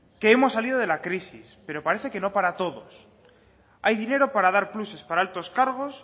que hemos salido de la crisis pero parece que no para todos hay dinero para dar pluses para altos cargos